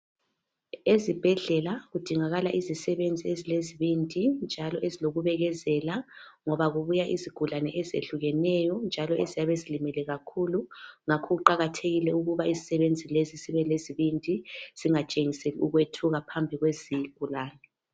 Ezibhedlela kudingakala izisebenzi ezilezibindi njalo ezilokubekezela ngoba kubuya izigulane ezinengi ezehlukeneyo njalo eziyabe zilimele kakhulu ngakho kuqakathekile ukuba izisebenzi lezi zibelesibindi. Zingatshengiseli ukwethuka phambi kwezigulane.